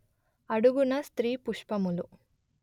అడుగున స్త్రీ పుష్పములు